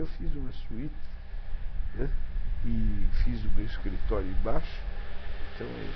Eu fiz uma suíte e fiz o meu escritório embaixo, então eu...